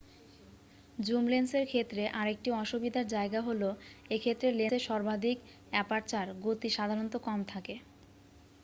Zoom লেন্সের ক্ষেত্রে আরেকটি অসুবিধার জায়গা হল এ ক্ষেত্রে লেন্সের সর্বাধিক অ্যাপারচার গতি সাধারণত কম থাকে।